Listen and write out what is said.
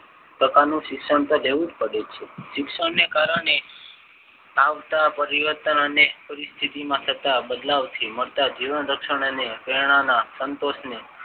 પ્રકારનું શિક્ષણ તો લેવું જ પડે છે. શિક્ષણને કારણે આવતા પરિવર્તાને સ્થિતિના બદલાવથી મળતા જીવન રક્ષણ અને પ્રેરણા ના સંતોષને